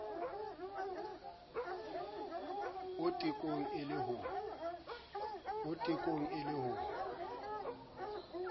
o tekong e le ho